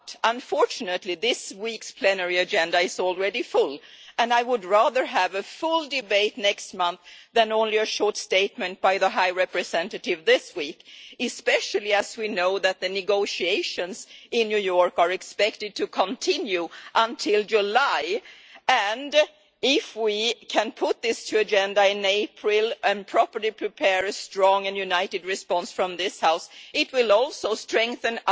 Unfortunately, this week's plenary agenda is already full, and I would rather have a full debate next month than only a short statement by the High Representative this week, especially as we know that the negotiations in New York are expected to continue until July. If we can put this on the agenda in April and properly prepare a strong and united response from this House, it will also strengthen